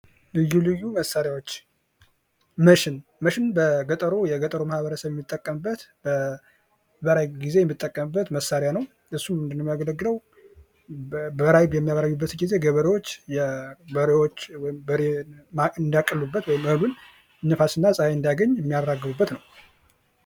ልዩ ልዩ መሳሪያዎች መስም መስም በገጠሩ ማህበረሰብ የሚጠቀምበት በበራይ ጊዜ የሚጠቀምበት መሳሪያ ነው። እሱ ምንድን ነው የሚያገለግለው በራይ በሚያበራዩበት ጊዜ ገበሬዎች በሬዎች ወይም በሬ እንዳቀሉበት ወይም መብል ነፋስና ጸሐይ እንዳገኝ የሚያራግቡበት ነው።